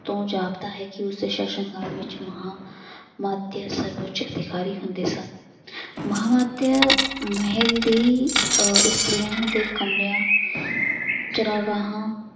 ਤੋਂ ਜਾਪਦਾ ਹੈ ਕਿ ਉਸਦੇ ਸ਼ਾਸ਼ਨ ਕਾਲ ਵਿੱਚ ਮਹਾਂ ਮਾਤਯ ਸਰਵਉੱਚ ਅਧਿਕਾਰੀ ਹੁੰਦੇ ਸਨ ਮਹਾਂਮਾਤਯ ਮਹਿਲ ਦੀ ਅਹ ਇਸਤਰੀਆਂ ਦੇ ਕਮਰਿਆਂ ਚਰਾਂਗਾਹਾਂ